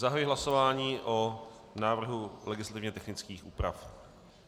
Zahajuji hlasování o návrhu legislativně technických úprav.